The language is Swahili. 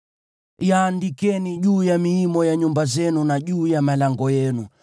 Yaandikeni juu ya miimo ya nyumba zenu na juu ya malango yenu,